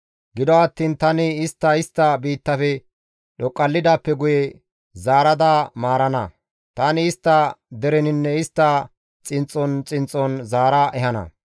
Gido attiin tani istta istta biittafe dhoqallidaappe guye zaarada maarana; tani istta dereninne istta xinxxon xinxxon zaara ehana.